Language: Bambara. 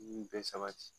Nin bɛɛ sabati